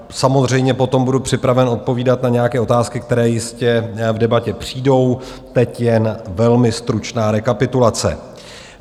Samozřejmě potom budu připraven odpovídat na nějaké otázky, které jistě v debatě přijdou, teď jen velmi stručná rekapitulace.